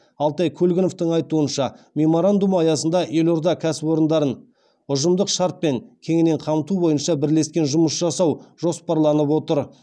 алтай көлгіновтің айтуынша меморандум аясында елорда кәсіпорындарын ұжымдық шартпен кеңінен қамту бойынша бірлесіп жұмыс жасау жоспарланып отыр